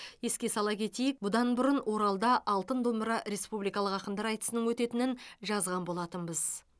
еске сала кетейік бұдан бұрын оралда алтын домбыра республикалық ақындар айтысының өтетінін жазған болатынбыз